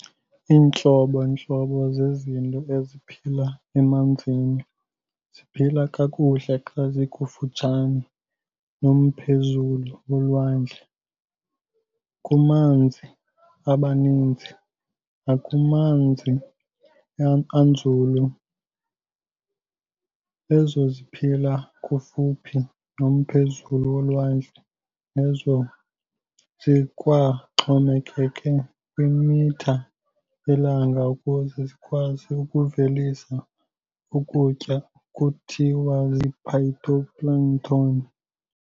Intlobo-ntlobo zezinto eziphila emanzini ziphila kakuhle xa zikufutshane nomphezulu wolwandle, kumanzi abanzi, nakumanzi anzulu. Ezo ziphila kufuphi nomphezulu wolwandle nezo zikwaxhomekeke kwimitha yelanga ukuze zikwazi ukuvelisa ukutya kuthiwa zii-phytoplankton.